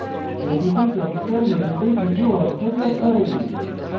প্রতিটি character method কিছু অর্থ যোগ করে